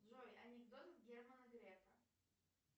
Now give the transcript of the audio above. джой анекдот германа грефа